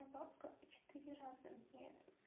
ну папка четыре раза мне